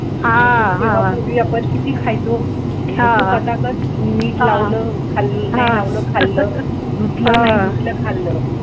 पूर्वी आपण किती खायचो घ्यायचो पटापट मीठ लावलं खाल्लं धुतलं नाही धुतलं, खाल्लं